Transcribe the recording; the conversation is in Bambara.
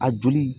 A joli